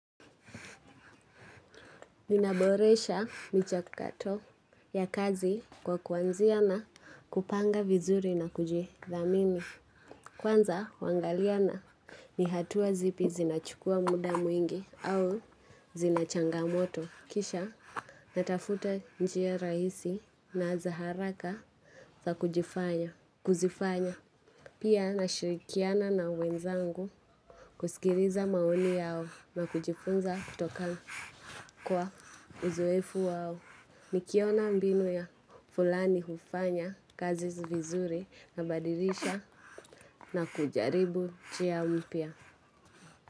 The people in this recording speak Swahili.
Ninaboresha michakato ya kazi kwa kuanzia na kupanga vizuri na kujidhamini. Kwanza, huangalia ni hatua zipi zinachukua muda mwingi au zina changamoto. Kisha, natafuta njia rahisi na za haraka za kuzifanya. Pia, nashirikiana na wenzangu, kusikiliza maoni yao na kujifunza kutoka. Kwa uzoefu wao, nikiona mbinu ya fulani hufanya kazi vizuri, nabadilisha na kujaribu njia mpya.